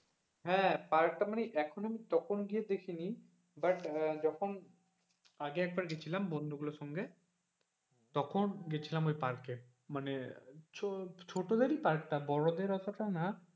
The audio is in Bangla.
হ্যাঁ পার্ক টা মানে এখন তখন গিয়ে দেখি নি but যখন আরেক একবার গেছিলাম বন্ধু গুলোর সঙ্গে তখন গেছিলাম ওই পার্কে মানে ছোটদের পার্ক টা বড়দের অতটা না.